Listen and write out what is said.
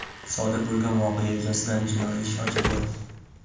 Sodir bo‘lgan voqea yuzasidan jinoiy ish ochilgan.